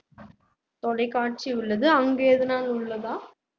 தொலைக்காட்சி உள்ளது அங்கு எதனால் உள்ளதா